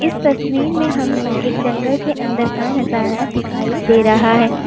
इस तस्वीर में हमें एक जंगल के अंदर का नजारा दिखाई दे रहा है।